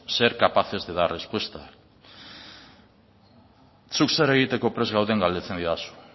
ser capaces de ser respuesta zuk zer egiteko prest gauden galdetzen didazu